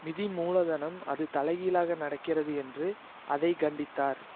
நிதி மூலதனம் அது தலை கீழாக நடக்கிறது என்று அதை கண்டித்தார்